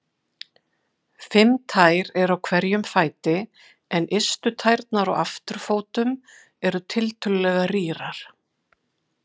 Fimm tær eru á hverjum fæti en ystu tærnar á afturfótum eru tiltölulega rýrar.